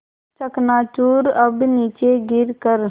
चकनाचूर अब नीचे गिर कर